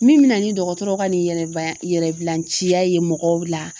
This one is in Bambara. Min bɛ na ni dɔgɔtɔrɔ ka nin yɛrɛ ci ya ye mɔgɔw la